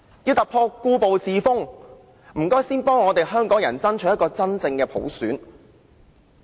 要突破故步自封，請先幫香港爭取一個真正的普選。